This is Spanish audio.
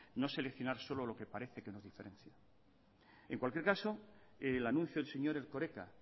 no solucionar solo lo que parece que nos diferencia en cualquier caso el anuncio del señor erkoreka